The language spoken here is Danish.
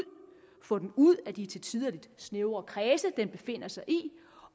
få den ud af de til tider lidt snævre kredse den befinder sig i